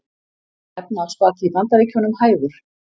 Efnahagsbati í Bandaríkjunum hægur